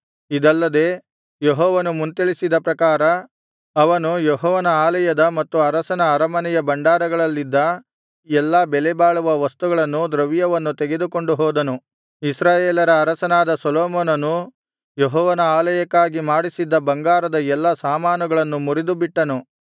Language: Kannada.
ಇದಲ್ಲದೆ ಯೆಹೋವನು ಮುಂತಿಳಿಸಿದ ಪ್ರಕಾರ ಅವನು ಯೆಹೋವನ ಆಲಯದ ಮತ್ತು ಅರಸನ ಅರಮನೆಯ ಭಂಡಾರಗಳಲ್ಲಿದ್ದ ಎಲ್ಲಾ ಬೆಲೆಬಾಳುವ ವಸ್ತುಗಳನ್ನು ದ್ರವ್ಯವನ್ನು ತೆಗೆದುಕೊಂಡು ಹೋದನು ಇಸ್ರಾಯೇಲರ ಅರಸನಾದ ಸೊಲೊಮೋನನು ಯೆಹೋವನ ಆಲಯಕ್ಕಾಗಿ ಮಾಡಿಸಿದ್ದ ಬಂಗಾರದ ಎಲ್ಲಾ ಸಾಮಾನುಗಳನ್ನು ಮುರಿದುಬಿಟ್ಟನು